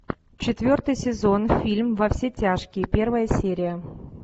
четвертый сезон фильм во все тяжкие первая серия